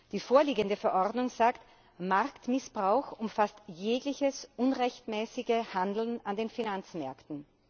Die vorliegende Verordnung sagt, Marktmissbrauch umfasst jegliches unrechtmäßige Handeln an den Finanzmärkten.